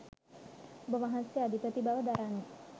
ඔබවහන්සේ අධිපති බව දරන්නේ